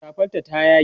safar ta ya yage